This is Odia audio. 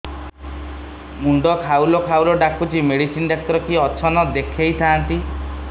ମୁଣ୍ଡ ଖାଉଲ୍ ଖାଉଲ୍ ଡାକୁଚି ମେଡିସିନ ଡାକ୍ତର କିଏ ଅଛନ୍ ଦେଖେଇ ଥାନ୍ତି